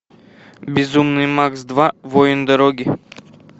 безумный макс два воин дороги